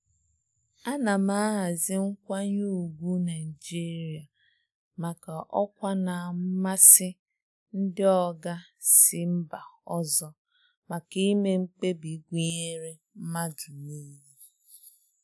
Ana m ahazi nkwanye ùgwù Naịjirịa maka ọkwa na mmasị ndị oga si mba ọzọ maka ime mkpebi gụnyere mmadụ niile.